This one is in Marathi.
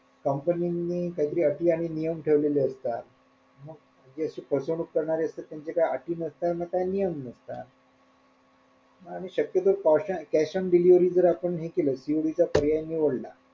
कंपन्यांनी काय तरी आटी आणि नियम ठेवलेले आहेत का जे अशे फसवणूक करणारे असतात त्यांचे काही अटी नसतात ना काही नियम नसतात आणि शक्यतो cash on delivery जर आपण हे केलं पर्याय निवडला,